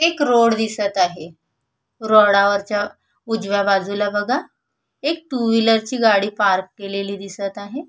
एक रोड दिसत आहे रोडावरच्या उजव्या बाजूला बघा एक टू व्हीलर ची गाडी पार्क केलेली दिसत आहे.